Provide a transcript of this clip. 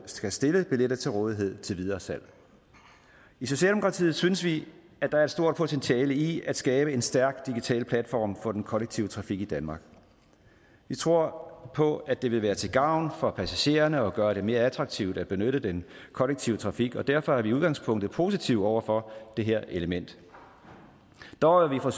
skal stille billetter til rådighed til videresalg i socialdemokratiet synes vi at der er et stort potentiale i at skabe en stærk digital platform for den kollektive trafik i danmark vi tror på at det vil være til gavn for passagererne at gøre det mere attraktivt at benytte den kollektive trafik og derfor er vi i udgangspunktet positive over for det her element dog er